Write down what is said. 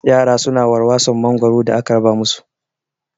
Yara su na warwason mangoro da aka raba mu su